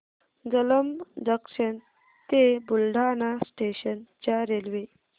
Jalamb junction ते Buldhana station च्या railway